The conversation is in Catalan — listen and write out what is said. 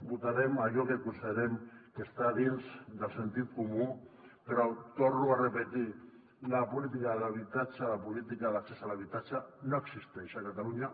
votarem allò que considerem que està dins del sentit comú però ho torno a repetir la política d’habitatge la política d’accés a l’habitatge no existeix a catalunya